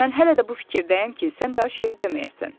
Mən hələ də bu fikirdəyəm ki, sən daha şeir deməyəsən.